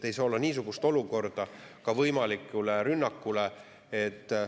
Ei saa olla niisugust olukorda, kus rünnak on võimalik.